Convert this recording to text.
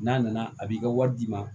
N'a nana a b'i ka wari d'i ma